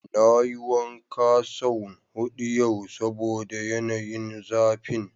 Na yi wanka son hudu yau saboda yanayin zafin.